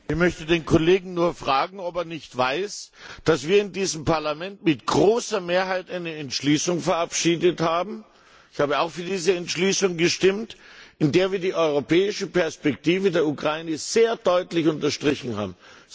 Herr Präsident! Ich möchte den Kollegen nur fragen, ob er nicht weiß, dass wir hier in diesem Parlament mit großer Mehrheit eine Entschließung verabschiedet haben ich selbst habe auch für diese Entschließung gestimmt in der wir die europäische Perspektive der Ukraine sehr deutlich unterstrichen haben.